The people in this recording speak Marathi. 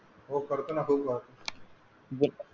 हो करतो ना